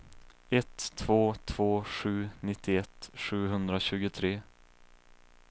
ett två två sju nittioett sjuhundratjugotre